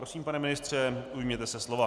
Prosím, pane ministře, ujměte se slova.